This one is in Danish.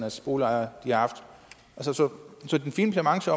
boligejere har haft så den fine klamamse